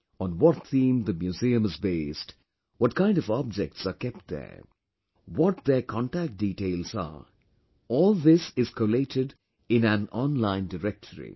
On what theme the museum is based, what kind of objects are kept there, what their contact details are all this is collated in an online directory